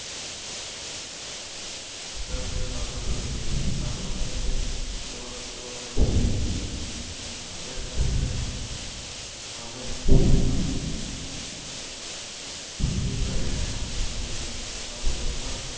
સ્થળે પાર્ક. જો જો મળી આવતા જાતા સમયમાં. પૃથ્વી પહેલાં માણસો માટે શ્વાસ લેવો પણ.